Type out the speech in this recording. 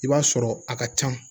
I b'a sɔrɔ a ka ca